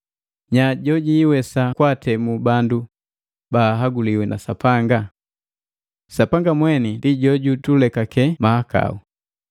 Nyaa jojiwesa kwaatemu bandu baahaguliwi na Sapanga? Sapanga mweni ndi jojutulekake mahakau.